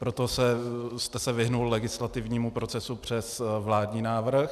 Proto jste se vyhnul legislativnímu procesu přes vládní návrh.